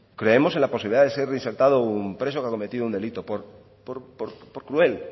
creemos en la posibilidad de ser reinsertado un preso que haya cometido un delito por cruel